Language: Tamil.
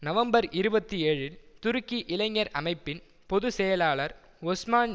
நவம்பர் இருபத்தி ஏழில் துருக்கி இளைஞர் அமைப்பின் பொது செயலாளர் ஒஸ்மான்